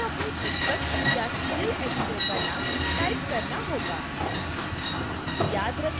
आपको अपनी पुस्तक या सीरियल editors का name टाइप करना होगा